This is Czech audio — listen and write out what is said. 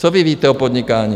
Co vy víte o podnikání.